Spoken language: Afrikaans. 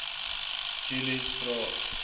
julies vra